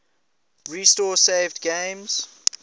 restore saved games